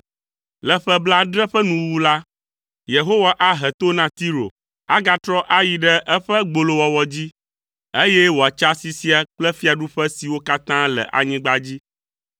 Le ƒe blaadre ƒe nuwuwu la, Yehowa ahe to na Tiro. Agatrɔ ayi ɖe eƒe gbolowɔwɔ dzi, eye wòatsa asi sia kple fiaɖuƒe siwo katã le anyigba dzi;